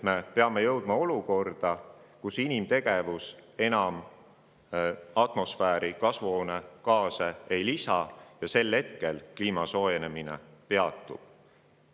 Me peame jõudma olukorda, kus inimtegevus enam kasvuhoonegaase atmosfääri ei lisa, sest sel hetkel kliima soojenemine peatub.